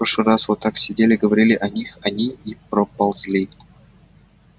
прошлый раз вот так сидели говорили о них они и проползли